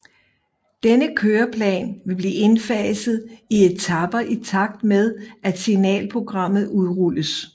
Denne køreplan vil blive indfaset i etaper i takt med at Signalprogrammet udrulles